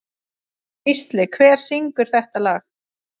Gísli, hver syngur þetta lag?